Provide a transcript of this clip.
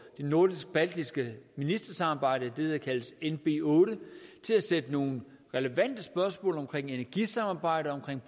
det nordisk baltiske ministersamarbejde det der kaldes nb8 til at sætte nogle relevante spørgsmål om energisamarbejde og